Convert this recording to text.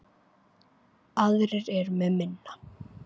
Aðrir eru með minna.